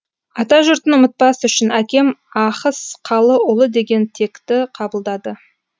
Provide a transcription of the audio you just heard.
атажұртын ұмытпас үшін әкем ахыскалыұлы деген текті қабылдады